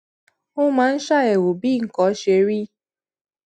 ó máa ń ṣàyèwò bí nǹkan ṣe rí